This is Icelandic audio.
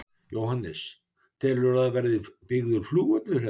Jóhannes: Telurðu að það verði byggður flugvöllur hérna?